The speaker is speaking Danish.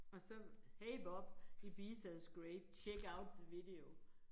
Og så hey Bob Ibiza is great check out the video